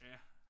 Ja